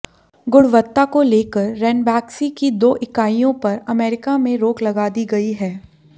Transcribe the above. गुणवत्ता को लेकर रैनबैक्सी की दो इकाइयों पर अमेरिका में रोक लगा दी गई है